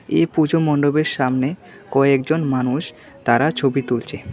এ পুজো মণ্ডপের সামনে কয়েকজন মানুষ তারা ছবি তুলচে।